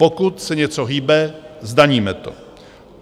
Pokud se něco hýbe, zdaníme to.